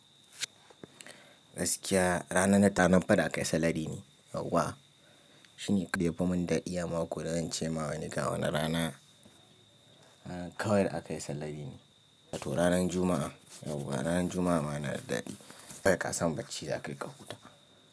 Gaskiya ranar ɗan faɗi akayi salari ne yauwa. Shini kayi bamin daɗi ya mako da zan ce ma wani ga wani rana, a kawai da akayi salari ne. To ranar Juma'a yauwa, ranar Juma'a ma nada daɗi. Sai kasan bacci zaka yi kahuta.